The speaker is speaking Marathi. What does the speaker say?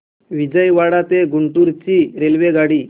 विजयवाडा ते गुंटूर ची रेल्वेगाडी